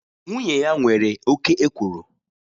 Nwunye ya nwere oke ekworo